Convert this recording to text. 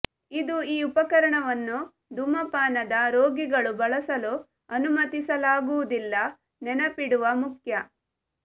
ಇದು ಈ ಉಪಕರಣವನ್ನು ಧೂಮಪಾನದ ರೋಗಿಗಳು ಬಳಸಲು ಅನುಮತಿಸಲಾಗುವುದಿಲ್ಲ ನೆನಪಿಡುವ ಮುಖ್ಯ